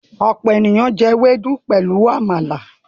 ọpọ ènìyàn jé Ewédú pẹlú àmàlà.